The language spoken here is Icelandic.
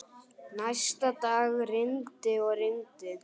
Næsta dag rigndi og rigndi.